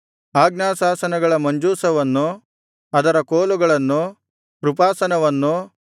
ಆಜ್ಞಾಶಾಸನಗಳ ಮಂಜೂಷವನ್ನು ಅದರ ಕೋಲುಗಳನ್ನು ಕೃಪಾಸನವನ್ನು